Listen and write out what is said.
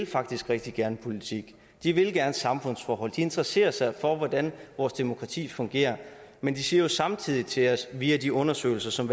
faktisk rigtig gerne vil politik de vil gerne samfundsforhold de interesserer sig for hvordan vores demokrati fungerer men de siger jo samtidig til os via de undersøgelser som